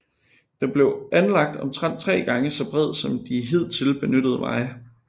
Den blev anlagt omtrent 3 gange så bred som de hidtil benyttede veje